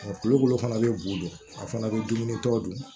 Tulu fana bɛ bu a fana be dumunitɔ dun